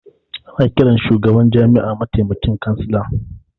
Ana ƙiran shugaban jami'a matamaikin kansila